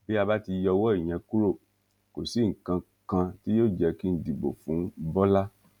bí a bá ti yọwọ ìyẹn kúrò kò sí nǹkan kan tí yóò jẹ kí n dìbò fún bọlá